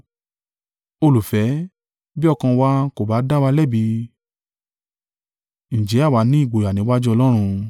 Olùfẹ́, bí ọkàn wa kò bá dá wa lẹ́bi, ǹjẹ́ àwa ni ìgboyà níwájú Ọlọ́run?